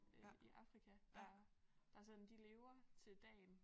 Øh i Afrika der der sådan de lever til dagen